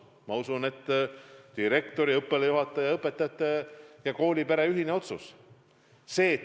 Ma usun, see on direktori, õppealajuhataja ja õpetajate, koolipere ühine otsus.